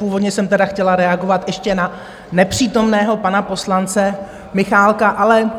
Původně jsem tedy chtěla reagovat ještě na nepřítomného pana poslance Michálka, ale